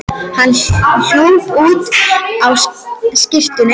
Hann hljóp út á skyrtunni og inniskónum.